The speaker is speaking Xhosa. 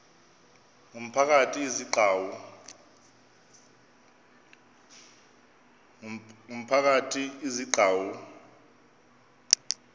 ngumphakathi izi gcawu